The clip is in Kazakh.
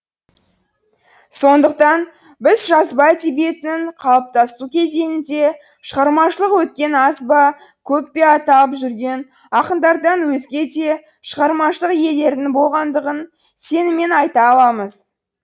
сондықтан біз жазба әдебиетінің қалыптасу кезеңінде шығармашылық өткен аз ба көп пе аталып жүрген ақындардан өзге де шығармашылық иелерінің болғандығын сеніммен айта аламыз